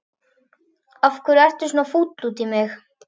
Af hverju ertu svona fúll út í mig?